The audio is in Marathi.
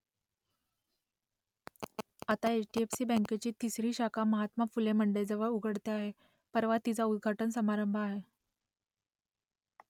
आता एच डी एफ सी बँकेची तिसरी शाखा महात्मा फुले मंडईजवळ उघडते आहे परवा तिचा उद्घाटन समारंभ आहे